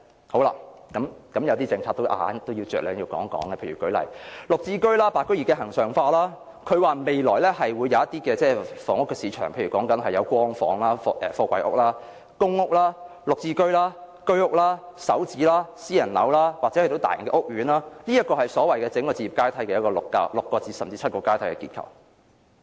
好了，有一些政策我都要大概談一談，例如"綠置居"，"白居二"的恆常化，她指出未來會有一些房屋市場，例如有"光房"、貨櫃屋、公屋、"綠置居"、居屋、"港人首置上車盤"、私人樓，或是一些大型屋苑，這是所謂的置業階梯的6至7個結構。